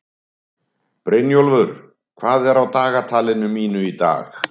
Brynjólfur, hvað er á dagatalinu mínu í dag?